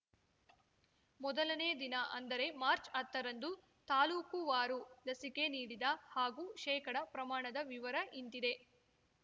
ಮೊದಲನೇ ದಿನ ಅಂದರೆ ಮಾರ್ಚ್ ಹತ್ತರಂದು ತಾಲ್ಲೂಕುವಾರು ಲಸಿಕೆ ನೀಡಿದ ಹಾಗೂ ಶೇಕಡ ಪ್ರಮಾಣದ ವಿವರ ಇಂತಿದೆ